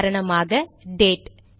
உதாரணமாக டேட்date